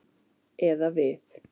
Eða við.